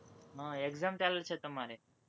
હમ exam ચાલે છે, તમારે?